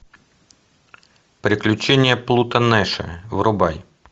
приключения плуто нэша врубай